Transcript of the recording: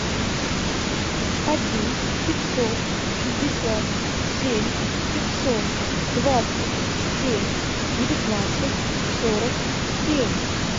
один пятьсот шестьдесят семь пятьсот двадцать семь девятнадцать сорок семь